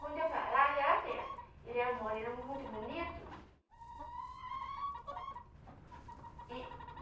Quando eu ia para lá, aquela festa, ele era um moreno muito bonito. E